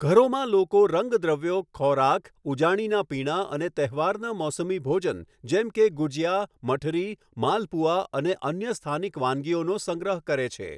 ઘરોમાં લોકો રંગદ્રવ્યો, ખોરાક, ઉજાણીનાં પીણાં અને તહેવારના મોસમી ભોજન જેમ કે ગુજિયા, મઠરી, માલપુઆં અને અન્ય સ્થાનિક વાનગીઓનો સંગ્રહ કરે છે.